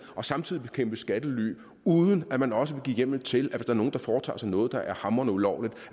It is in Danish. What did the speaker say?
og samtidig bekæmpe skattely uden at man også vil give hjemmel til at hvis er nogle der foretager sig noget der er hamrende ulovligt